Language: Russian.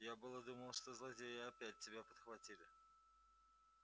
я было думал что злодеи опять тебя подхватили